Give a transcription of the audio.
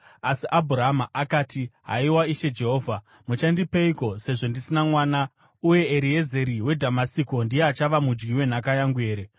Asi Abhurama akati, “Haiwa Ishe Jehovha, muchandipeiko sezvo ndisina mwana uye Eriezeri weDhamasiko ndiye achava mudyi wenhaka yangu here?”